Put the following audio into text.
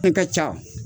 Ne ka ca